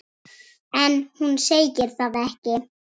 En hún segir það ekki.